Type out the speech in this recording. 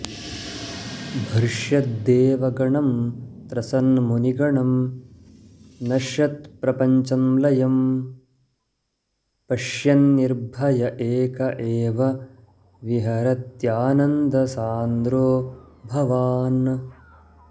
भ्रश्यद्देवगणं त्रसन्मुनिगणं नश्यत्प्रपञ्चं लयं पश्यन्निर्भय एक एव विहरत्यानन्दसान्द्रो भवान्